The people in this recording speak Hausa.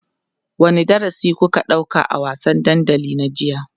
wani darasi kuka ɗauka a wasan dandali na jiya?